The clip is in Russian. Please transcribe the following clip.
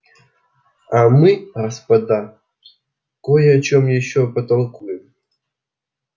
а мы господа кой о чем ещё потолкуем